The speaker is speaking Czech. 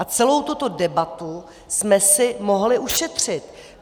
A celou tuto debatu jsme si mohli ušetřit.